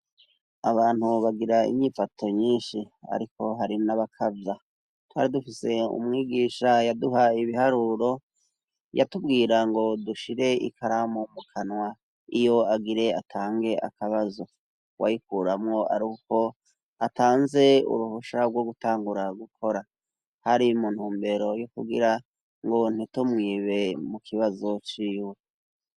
Abantu bagira inyifato nyishi. Ariko hari n'abakavya. Twari dufise umwigisha yaduha ibiharuro, yatubwira ngo dushire ikaramu mu kanwa iyo agire atange akabazo. Wayikuramwo ari uko atanze uruhusha rwo gutangura gukora. Hari mu ntumbero yo kugira ngo ntitumwibe mu kibazo c'iwe.